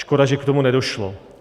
Škoda že k tomu nedošlo.